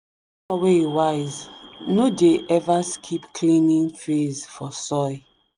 farmer wey wise no dey ever skip cleaning phase for soil.